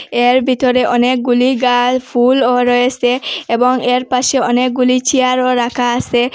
এর ভিতরে অনেকগুলি গাল ফুলও রয়েসে এবং এর পাশে অনেকগুলি চেয়ারও রাখা আসে।